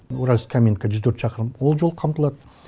уральск каминка жүз төрт шақырым ол жол қамтылады